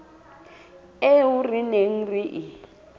eo re neng re e